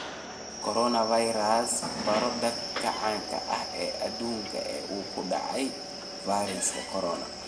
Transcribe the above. Coronavirus: Baro dadka caanka ah ee adduunka ee uu ku dhacay fayraska corona